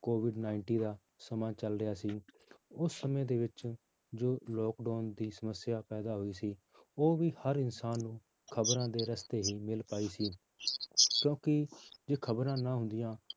COVID ninety ਦਾ ਸਮਾਂ ਚੱਲ ਰਿਹਾ ਸੀ ਉਸ ਸਮੇਂ ਦੇ ਵਿੱਚ ਜੋ lockdown ਦੀ ਸਮੱਸਿਆ ਪੈਦਾ ਹੋਈ ਸੀ, ਉਹ ਵੀ ਹਰ ਇਨਸਾਨ ਨੂੰ ਖ਼ਬਰਾਂ ਦੇ ਰਸਤੇ ਹੀ ਮਿਲ ਪਾਈ ਸੀ ਕਿਉਂਕਿ ਜੇ ਖ਼ਬਰਾਂ ਨਾ ਹੁੰਦੀਆਂ